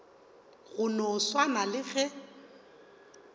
go no swana le ge